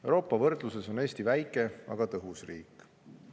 Euroopa võrdluses on Eesti väike, aga tõhus riik.